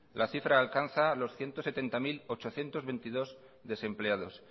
la cifra alcanza los ciento setenta mil ochocientos veintidós desempleados